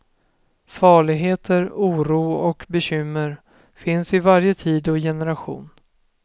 Farligheter, oro och bekymmer finns i varje tid och generation.